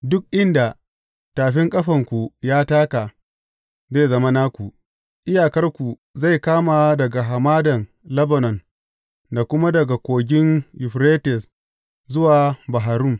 Duk inda tafin ƙafanku ya taka, zai zama naku; iyakarku zai kama daga hamadan Lebanon da kuma daga Kogin Yuferites zuwa Bahar Rum.